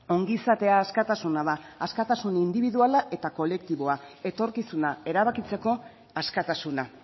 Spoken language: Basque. ongizatea askatasuna da askatasun indibiduala eta kolektiboa etorkizuna erabakitzeko askatasuna